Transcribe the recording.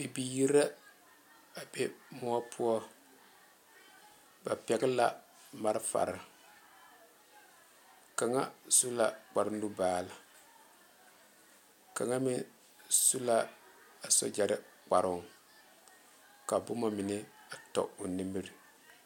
Bibiiri la a be moɔ poɔ ba pɔge la malfare kaŋa su la kpare nubaal kaŋa meŋ su la a sogyaraa kparoo ka boma mine a tɔ o nimiri